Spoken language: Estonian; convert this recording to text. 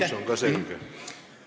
Aitäh, Aivar Sõerd!